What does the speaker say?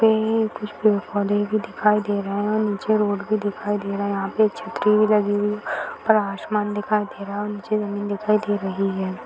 पेड़ कुछ पे फलें भी दिखाई दे रहे हैं और नीचे रोड भी दिखाई दे रहा है यहाँ पे एक छतरी भी लगी हुई और आसमान दिखाई दे रहा है और नीचे जमीन दिखाई दे रही है।